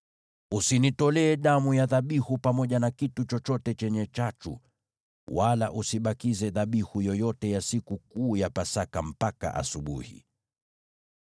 “Usinitolee damu ya dhabihu pamoja na kitu chochote chenye chachu, wala usibakize dhabihu yoyote ya Sikukuu ya Pasaka mpaka asubuhi.